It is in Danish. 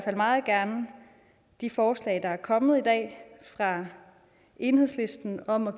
fald meget gerne de forslag der er kommet i dag fra enhedslisten om at